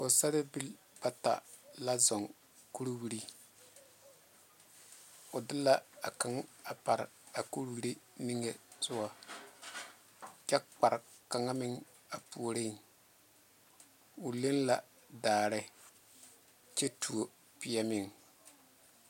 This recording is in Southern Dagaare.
Pɔgesaarebiilibata zɔŋe kuriweri o de a kaŋ pare a kuriweri zu sogo kyɛ kpaare kaŋa meŋ a puoriŋ o leŋe la daare kyɛ tuo pɛ meŋ.